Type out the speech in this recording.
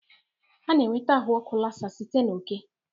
A na-enweta ahụ ọkụ Lassa site na oke